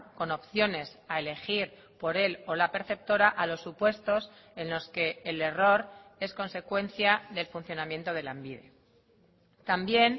con opciones a elegir por el o la perceptora a los supuestos en los que el error es consecuencia del funcionamiento de lanbide también